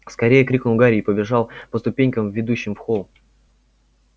скорее крикнул гарри и побежал по ступенькам ведущим в холл